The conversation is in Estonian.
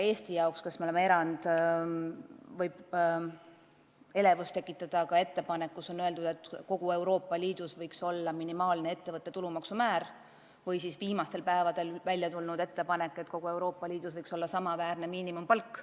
Eesti jaoks, kes me oleme erand, võib ehk elevust tekitada ettepanek, et kogu Euroopa Liidus võiks kehtida minimaalne ettevõtte tulumaksu määr, või siis viimastel päevadel välja käidud idee, et kogu Euroopa Liidus võiks olla sama miinimumpalk.